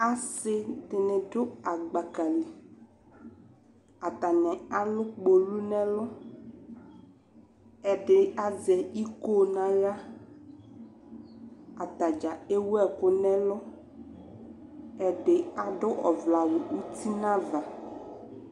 Asi dini dʋ agbaka li, atani alʋ kpolu n'ɛlʋ, ɛdi azɛ iko n'aɣla, atadzaa ewu ɛkʋ n'ɛlʋ ɛdi adʋ ɔvlɛ awʋ uti n'ava